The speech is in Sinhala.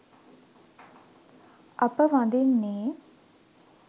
අප වඳින්නේ